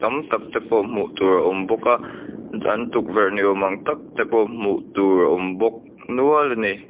am tak te pawh hmuh tur a awm bawk a an tukverh ni awm ang tak te pawh hmuh tur a awm bawk nual a ni.